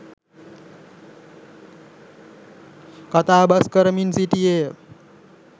කතාබස්‌ කරමින් සිටියේය.